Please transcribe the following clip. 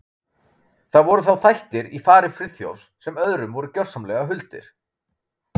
Það voru þá þættir í fari Friðþjófs sem öðrum voru gjörsamlega huldir.